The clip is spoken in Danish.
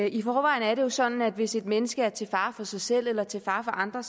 i forvejen er det jo sådan at hvis et menneske er til fare for sig selv eller til fare for andre